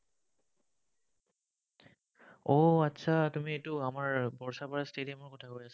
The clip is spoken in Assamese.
উম आतछा তুমি এইটো আমাৰ barsapara stadium ৰ কথা কৈ আছা।